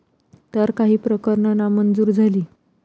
तर काही प्रकरणं नामंजूर झाली.